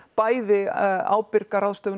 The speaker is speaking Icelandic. bæði ábyrga ráðstöfun